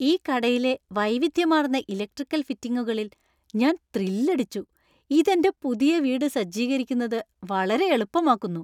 ഈ കടയിലെ വൈവിധ്യമാർന്ന ഇലക്ട്രിക്കൽ ഫിറ്റിംഗുകളിൽ ഞാൻ ത്രില്ലടിച്ചു. ഇത് എന്‍റെ പുതിയ വീട് സജ്ജീകരിക്കുന്നത് വളരെ എളുപ്പമാക്കുന്നു.